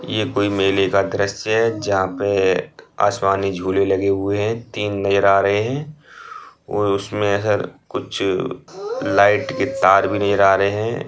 ये कोई मेले का दृश्य है जहाँ पे आसमान में झूले लगे हुए हैं तीन नज़र आ रहे हैं और उसमें ऐसा कुछ लाइट के तार भी नज़र आ रहे हैं।